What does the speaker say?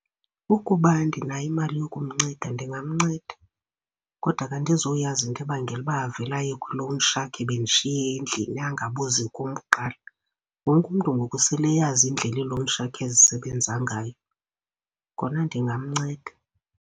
Ukuba ndinayo imali yokumnceda ndingamnceda. Kodwa ke andizuyazi into ebangela uba avele aye kwi-loan shark ebendishiye endlini angabuzi kum kuqala, wonke umntu ngoku sele eyazi indlela ii-loan shark ezisebenza ngayo. Kona ndingamnceda.